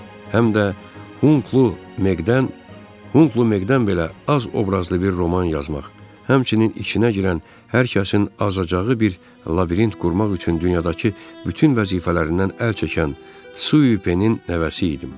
Həm də Hunqlu Meq-dən, Hunqlu Meq-dən belə az obrazlı bir roman yazmaq, həmçinin içinə girən hər kəsin azacağı bir labirint qurmaq üçün dünyadakı bütün vəzifələrindən əl çəkən Tsui Pen-in nəvəsi idim.